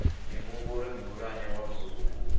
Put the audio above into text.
muhumbulo muhulwane wa bugu une